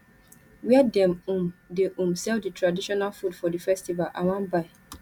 where dem um dey um sell di traditional food for di festival i wan buy